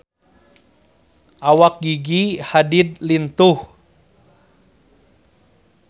Awak Gigi Hadid lintuh